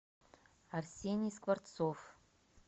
арсений скворцов